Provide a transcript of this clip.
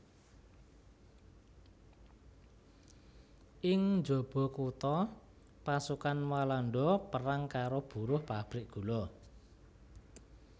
Ing njaba kutha pasukan Walanda perang karo buruh pabrik gula